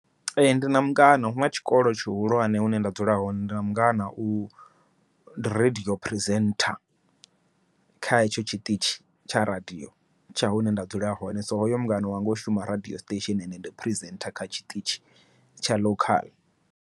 Ee ndina mungana huna tshikolo tshihulwane hune nda dzula hone, ndi mungana wa radiyo presenter, kha hetsho tshiṱitshi tsha radiyo tsha hune nda dzula hone. So hoyo mungana wanga u shuma radiyo siṱesheni ende ndi presenter kha tshiṱitshi tsha local.